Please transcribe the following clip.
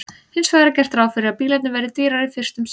Hins vegar er gert ráð fyrir að bílarnir verði dýrari fyrst um sinn.